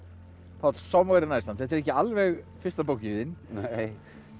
Páll Somewhere in Iceland þetta er ekki alveg fyrsta bókin þín nei